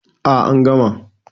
A an gama